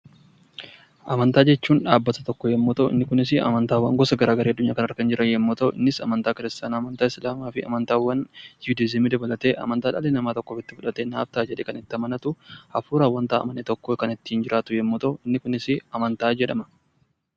Amantaa jechuun dhaabbata tokko yommuu ta'u inni kunis amantaa kiristaanaa, islaamaa fi amantaawwan juudizimii dabalatee amantaawwan dhalli namaa naaf ta'a jedhee itti amanatu hafuuraan kan amane tokko kan ittiin jiraatu yommuu ta'u inni kunis amantaa jedhama.